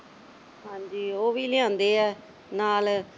ਹਾਂਜੀ, ਉਹ ਵੀ ਲਿਆਂਦੇ ਆ ਨਾਲ